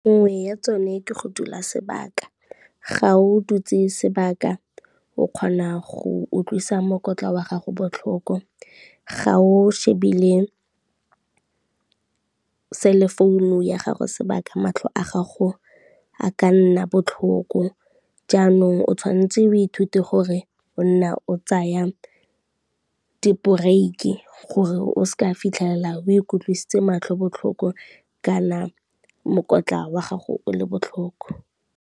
Nngwe ya tsone ke go dula sebaka, ga o dutse sebaka o kgona go utlwisa mokwatla wa gago botlhoko, ga o shebile cellphone ya gago sebaka matlho a gago a ka nna botlhoko, jaanong o tshwantse o ithute gore o nna o tsaya di-break-i gore o se ke wa fitlhelela o ikutlwisitse matlho botlhoko kana mokotla wa gago o le botlhoko.